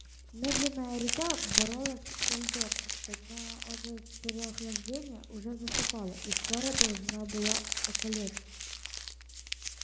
медленная река боролась со льдом но от переохлаждения уже засыпала и скоро должна была околеть